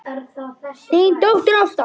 Þín dóttir, Ásta Pála.